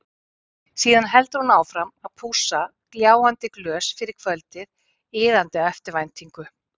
Síðan heldur hún áfram að pússa gljáandi glös fyrir kvöldið, iðandi af eftirvæntingu.